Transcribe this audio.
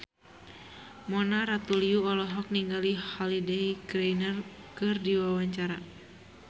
Mona Ratuliu olohok ningali Holliday Grainger keur diwawancara